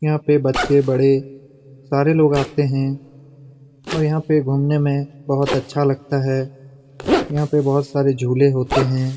यहाँ पे बच्चे-बड़े सारे लोग आते हैं और यहाँ पे घूमने में बहुत अच्छा लगता है यहाँ पे बहुत सारे झूले होते हैं।